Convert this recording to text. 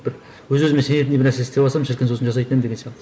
бір өз өзіме сенетіндей бір нәрсе істеп алсам шіркін сосын жасайтын едім деген сияқты